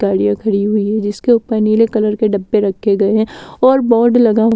गाड़ियां खड़ी हुई हैजिसके ऊपर नीले कलर के डब्बे रखे गए हैं और बोर्ड लगा --